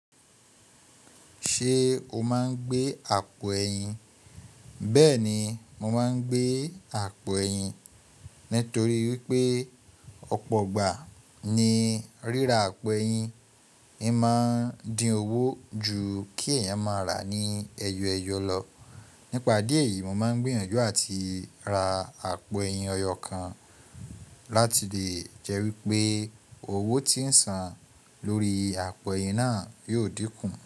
Ṣé o máa ń gbé àpò ẹyin? Bẹ́ẹ̀ni, mo máa ń gbé àpò ẹyin nítorí wípé ọ̀pọ̀ ọgbà ní ríra àpò ẹyin. O máa ń dín owó ju kí ẹ̀yàn máa rà ní ẹyọ ẹyọ lọ. Nípa idí eyì, mo máa ń gbiyanju àti ra àpò ẹyin ọyọ́ kan láti lè jẹ́ wípé owó tí ń san lórí àpò ẹyin náà yóò dínkù.